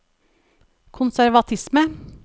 konservatisme